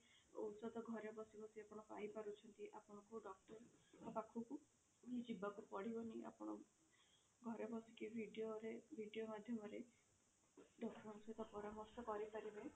ଔଷଧ ଘରେ ବସି ବସି ଆପଣ ପାଇ ପାରୁଛନ୍ତି ଆପଣଙ୍କୁ doctor ଙ୍କ ପାଖକୁ ଯିବାକୁ ପଡିବନି ଆପଣ ଘରେ ବସିକି video ରେ video ମାଧ୍ୟମରେ doctor ଙ୍କ ସହିତ ପରାମର୍ଶ କରିପାରିବେ